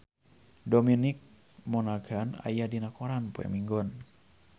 Dominic Monaghan aya dina koran poe Minggon